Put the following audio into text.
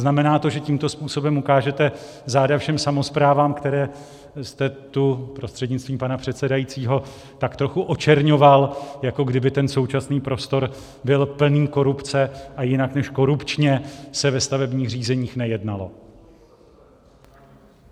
Znamená to, že tímto způsobem ukážete záda všem samosprávám, které jste tu, prostřednictvím pana předsedajícího, tak trochu očerňoval, jako kdyby ten současný prostor byl plný korupce a jinak než korupčně se ve stavebních řízeních nejednalo?